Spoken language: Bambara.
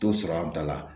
T'o sɔrɔ an ta la